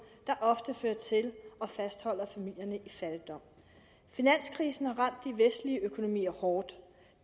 der ofte fører til og fastholder familierne i fattigdom finanskrisen har ramt de vestlige økonomier hårdt